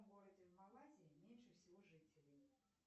городе в малайзии меньше всего жителей